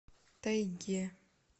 тайге